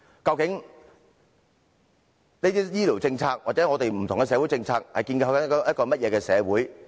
究竟這些醫療政策或不同的社會政策正在建構一個怎樣的社會呢？